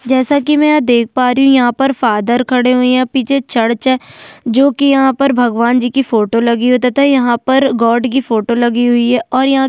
जैसा कि मैं यहाँ देख पा रही हूँ यहाँ पर फादर खड़े हुए हैं पीछे चर्च है जो कि यहाँ पर भगवान जी की फोटो लगी हुई है तथा यहाँ पर गॉड की फोटो लगी हुई है और यहाँ--